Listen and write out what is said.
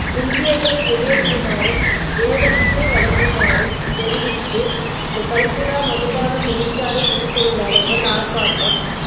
இந்தியர்களை வெளியேற்றுமாறும் வேதனத்தை வழங்குமாறும் தெரிவித்து கல்குடா மதுபான தொழிற்சாலை முன் தொழிலார்கள் ஆர்ப்பாட்டம்